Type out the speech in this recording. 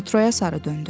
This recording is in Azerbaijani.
Metroya sarı döndü.